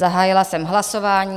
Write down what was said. Zahájila jsem hlasování.